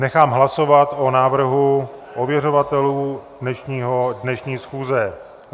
Nechám hlasovat o návrhu ověřovatelů dnešní schůze.